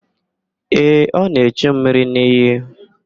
Ee, ọ na-echu mmiri n'iyi.